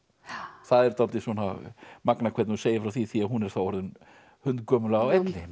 það er dálítið magnað hvernig þú segir frá því því hún er þá orðin hundgömul á elliheimili